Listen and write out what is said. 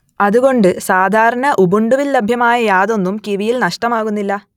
അതുകൊണ്ട് സാധാരണ ഉബുണ്ടുവിൽ ലഭ്യമായ യാതൊന്നും കിവിയിൽ നഷ്ടമാകുന്നില്ല